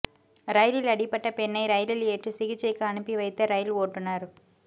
ரயிலில் அடிபட்ட பெண்ணை ரயிலில் ஏற்றி சிகிச்சைக்கு அனுப்பி வைத்த ரயில் ஓட்டுநா்